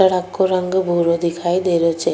सड़क को रंग भूरो दिखाई देरो छे।